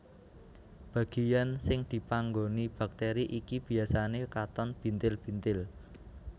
Bagian sing dipanggoni bakteri iki biasane katon bintil bintil